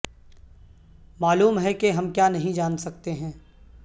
معلوم ہے کہ ہم کیا نہیں جان سکتے ہیں